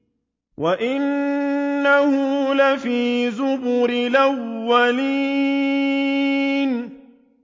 وَإِنَّهُ لَفِي زُبُرِ الْأَوَّلِينَ